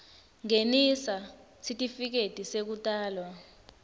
ngenisa sitifiketi sekutalwa